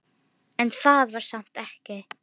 En það var samt ekki.